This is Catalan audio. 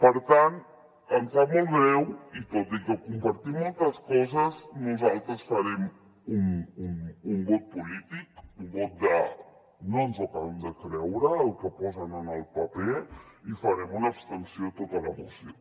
per tant em sap molt greu i tot i que compartim moltes coses nosaltres farem un vot polític un vot de no ens ho acabem de creure el que posen en el paper i farem una abstenció a tota la moció